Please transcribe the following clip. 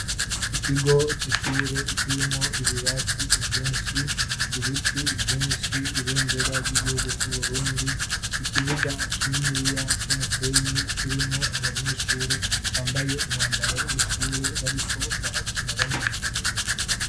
ikigo c'ishure kirimo ibirasi byinshi ibiti byinshi ibendera ry'igihugu cy'uburundi ikibuga kininiya c'umusenyi kirimwo abanyeshure bambaye umwambaro w'ishure bariko barakina banezerewe